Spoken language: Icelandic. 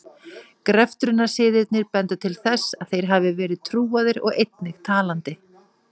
Greftrunarsiðirnir benda til þess að þeir hafi verið trúaðir og einnig talandi.